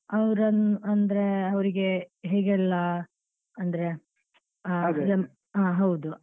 ಅವ್ರನ್ನು ಅಂದ್ರೆ ಅವ್ರಿಗೆ ಹೇಗೆಲ್ಲ ಅಂದ್ರೆ ಹಾ ಹೌದು.